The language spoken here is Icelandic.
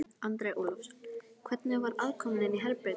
Andri Ólafsson: Hvernig var aðkoman inni í herberginu?